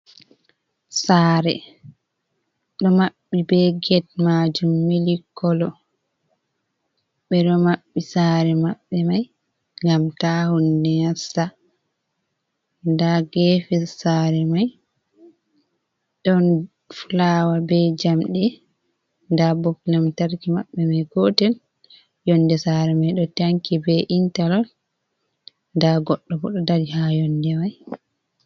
Sare ɗo maɓɓi be get majum mili kolo, ɓe ɗo maɓɓi sare maɓbe mai ngam ta hunde nasta, nda gefe sare mai ɗon fulawa be jamɗe, nda bop lamtarki maɓɓe mai gotel, yonde sare mai ɗo tanki be intalork nda goɗɗo bo ɗo dari ha yonde mai.